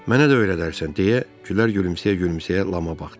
"Mənə də öyrədərsən?" deyə Gülər gülümsəyə-gülümsəyə Lama baxdı.